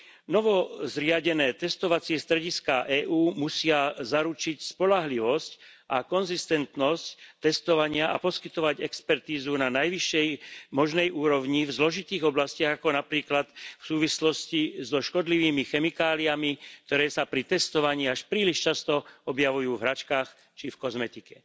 Novozriadené testovacie strediská EÚ musia zaručiť spoľahlivosť a konzistentnosť testovania a poskytovať expertízu na najvyššej možnej úrovni v zložitých oblastiach, ako napríklad v súvislosti so škodlivými chemikáliami, ktoré sa pri testovaní až príliš často objavujú v hračkách či v kozmetike.